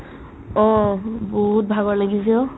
অ', বহুত ভাগৰ লাগিছে অ'